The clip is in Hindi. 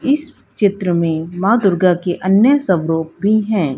इस चित्र में मां दुर्गा के अन्य स्वरूप भी हैं।